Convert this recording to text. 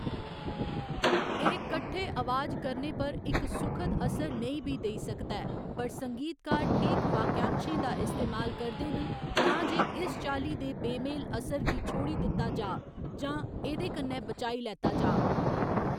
एह्‌‌ कट्ठे अवाज करने पर इक सुखद असर नेईं बी देई सकदा ऐ, पर संगीतकार ठीक वाक्यांशें दा इस्तेमाल करदे न तां जे इस चाल्ली दे बेमेल असर गी छोड़ी दित्ता जाऽ जां एह्दे कन्नै बचाई लैता जाऽ।